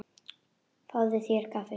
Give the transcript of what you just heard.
Fáðu þér kaffi.